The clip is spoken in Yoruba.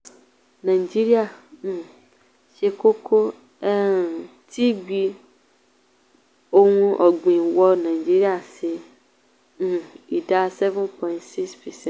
nàìjíríà um ṣe kókó um tí gbí ohun ọ̀gbìn wọ nigeria ṣe um ìdá 7.6 percent.